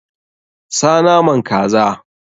Sa naman kaza!